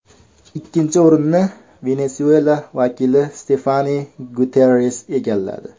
Ikkinchi o‘rinni Venesuela vakili Stefani Guterres egalladi.